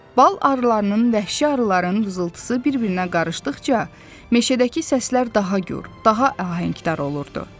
Bal arılarının, vəhşi arıların vızıltısı bir-birinə qarışdıqca, meşədəki səslər daha gur, daha ahəngdar olurdu.